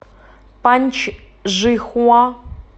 паньчжихуа